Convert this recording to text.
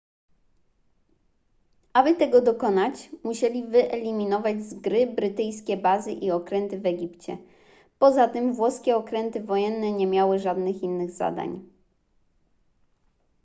aby tego dokonać musieli wyeliminować z gry brytyjskie bazy i okręty w egipcie poza tym włoskie okręty wojenne nie miały żadnych innych zadań